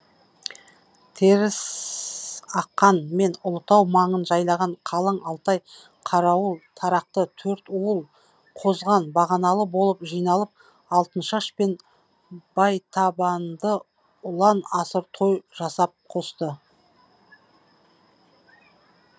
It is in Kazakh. теріс аққан мен ұлытау маңын жайлаған қалың алтай қарауыл тарақты төртуыл қозған бағаналы болып жиналып алтыншаш пен байтабынды ұлан асыр той жасап қосты